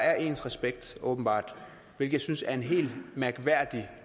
er ens respekt åbenbart det synes jeg er en helt mærkværdig